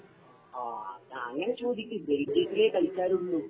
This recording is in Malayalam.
ഓ അതങ്ങനെ ചോദിക്ക് ബെൽജിയത്തിലെ കളിക്കാരുള്ളൂ